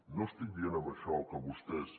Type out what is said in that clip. no estic dient amb això que vostès